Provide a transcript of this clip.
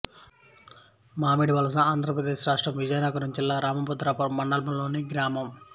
మామిడివలస ఆంధ్ర ప్రదేశ్ రాష్ట్రం విజయనగరం జిల్లా రామభద్రాపురం మండలంలోని గ్రామం